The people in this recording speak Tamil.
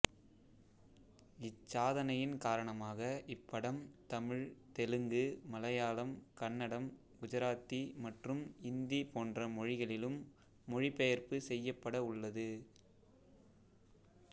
இச்சாதனையின் காரணமாக இப்படம் தமிழ் தெலுங்கு மலையாளம் கன்னடம் குஜராத்தி மற்றும் இந்தி போன்ற மொழிகளிலும் மொழிபெயர்ப்பு செய்யப்பட உள்ளது